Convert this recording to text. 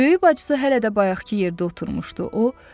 Böyük bacısı hələ də bayaqkı yerdə oturmuşdu.